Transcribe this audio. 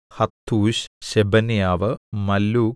ഹത്തൂശ് Shebaniah മല്ലൂക്